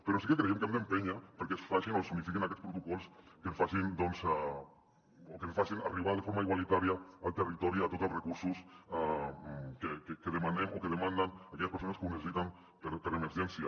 però sí que creiem que hem d’empènyer perquè es facin o s’unifiquin aquests protocols que es facin arribar de forma igualitària al ter·ritori tots els recursos que demanem o que demanden aquelles persones que ho ne·cessiten per a emergència